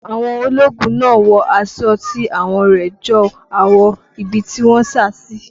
Àwọn ológun náà wọ aṣọ tí àwọ̀ rẹ̀ jọ àwọ̀ ibi tí wọ́n sá sí.